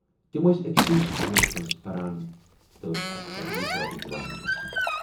تِم ٲس ٲکۍسٕے سکوٗلس منز پران تہٕ ٲسۍ اکثر یِکوٹہٕ یِوان گژھان۔